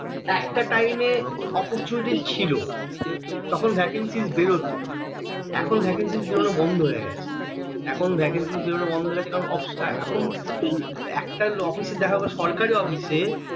একটা time এ oportunaty ছিল তখন vacancy বেরোতো এখন vacancy বেরোনো বন্ধ হয়ে গেছে এখন vacancy বেরোনো বন্ধ হয়ে গেছে কারণ এখন একটা হলো দেখো বা সরকারী office এ